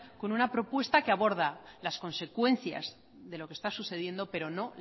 con una propuesta que aborda las consecuencias de lo que está sucediendo pero no